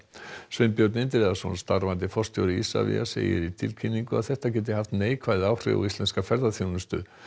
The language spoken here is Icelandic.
Sveinbjörn Indriðason starfandi forstjóri Isavia segir í tilkynningu að þetta geti haft neikvæð áhrif á íslenska ferðaþjónustu